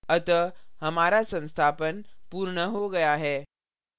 अतः हमारा संस्थापन पूर्ण हो गया है